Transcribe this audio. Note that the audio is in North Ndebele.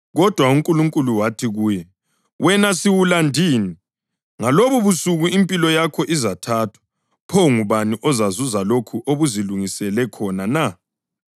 Kodwa uNkulunkulu wathi kuye, ‘Wena siwula ndini! Ngalobubusuku impilo yakho izathathwa. Pho ngubani ozazuza lokhu obusuzilungisele khona na?’